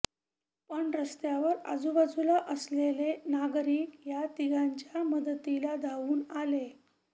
पण रस्त्यावर आजूबाजूला असलेले नागरिक या तिघांच्या मदतीला धावून आले